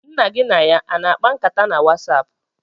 Nna gị na ya a na-akpa nkata na Wasapụ?